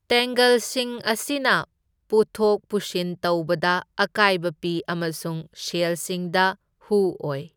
ꯇꯦꯡꯒꯜꯁꯤꯡ ꯑꯁꯤꯅ ꯄꯨꯊꯣꯛ ꯄꯨꯁꯤꯟ ꯇꯧꯕꯗ ꯑꯀꯥꯢꯕ ꯄꯤ ꯑꯃꯁꯨꯡ ꯁꯦꯜꯁꯤꯡꯗ ꯍꯨ ꯑꯣꯢ꯫